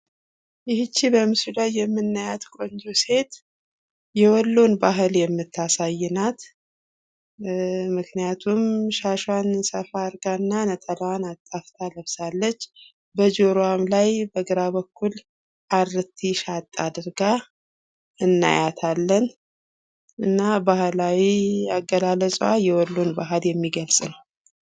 ይች በምስሉ ላይ የምናያት ቆንጆ ሴት የወሎን ባህል የምታሳይ ናት። ምክንያቱም ሻሿን ሰፋ አርጋና ነጠላዋን አጣፍታ ለብሳለች። በጆሮዋም ላይ በግራ በኩል አሪቲ ሻጥ አድርጋ እናያታለን። ባህላዊ አገላለጿ የወሎን ባህል የሚገልጽ ነው።